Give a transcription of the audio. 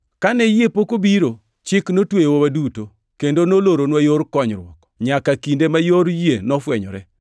Kane yie pok obiro, Chik notweyowa waduto, kendo noloronwa yor konyruok, nyaka kinde ma yor yie nofwenyore.